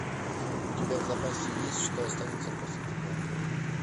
у тебя в запасе есть что останется после тебя